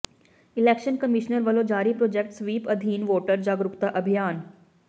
election commissioner ਵਲੋਂ ਜਾਰੀ project SVEEP ਅਧੀਨ ਵੋਟਰ ਜਾਗਰੂਕਤਾ ਅਭਿਆਨ